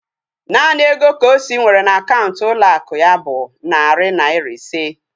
Naanị ego Kosi nwere na akaụntụ ụlọ akụ ya bụ narị naira ise